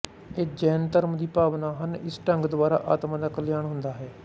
ਇਹ ਜੈਨ ਧਰਮ ਦੀ ਭਾਵਨਾ ਹਨ ਇਸ ਢੰਗ ਦੁਆਰਾ ਆਤਮਾ ਦਾ ਕਲਿਆਣ ਹੁੰਦਾ ਹਾਂ